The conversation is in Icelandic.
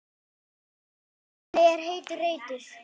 Undir henni er heitur reitur.